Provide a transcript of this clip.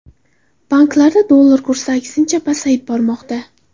Banklarda dollar kursi, aksincha, pasayib bormoqda .